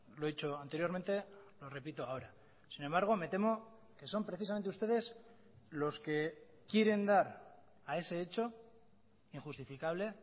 lo he dicho anteriormente lo repito ahora sin embargo me temo que son precisamente ustedes los que quieren dar a ese hecho injustificable